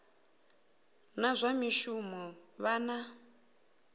na zwa mishumo vha na